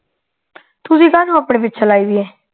ਸੁਨੀਤਾ ਨੂ ਵੀ ਆਪਣੇ ਪਿੱਛੇ ਲਾਈ ਹੋਈ ਏ